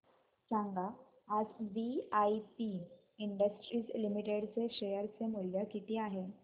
सांगा आज VIP Industries Limited चे शेअर चे मूल्य किती आहे